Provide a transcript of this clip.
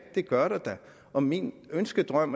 det gør der da og min ønskedrøm